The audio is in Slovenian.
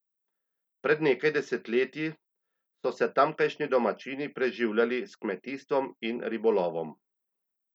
Pred nekaj desetletji so se tamkajšnji domačini preživljali s kmetijstvom in ribolovom.